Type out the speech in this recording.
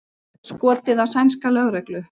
Skotið á sænska lögreglu